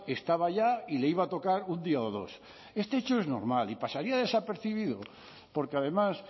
estaba ya y le iba a tocar un día o dos este hecho es normal y pasaría desapercibido porque además